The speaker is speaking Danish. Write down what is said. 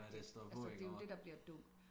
Når det står på iggå